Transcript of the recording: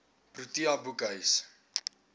protea boekhuis